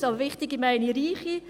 mit «wichtige» meine ich reiche.